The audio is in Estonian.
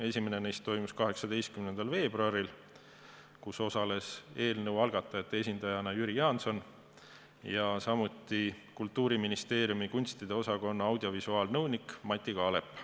Esimene neist toimus 18. veebruaril, kus osales eelnõu algatajate esindajana Jüri Jaanson ja samuti Kultuuriministeeriumi kunstide osakonna audiovisuaalnõunik Mati Kaalep.